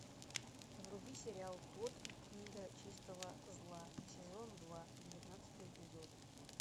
вруби сериал тодд и книга чистого зла сезон два девятнадцатый эпизод